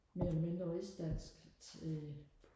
mere eller mindre rigsdansk til